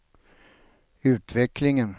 utvecklingen